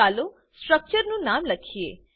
ચાલો સ્ટ્રક્ચરનું નામ લખીએ